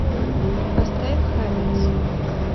поставь хабитс